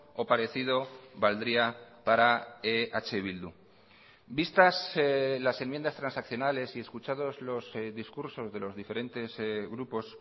o parecido valdría para eh bildu vistas las enmiendas transaccionales y escuchados los discursos de los diferentes grupos